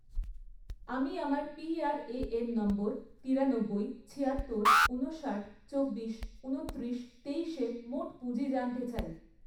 আমি আমার PRAN number তিরানব্বই, ছিয়াত্তর, ঊনষাট, চব্বিশ, ঊনত্রিশ, তেইশ এর মোট পুঁজি জানতে চাই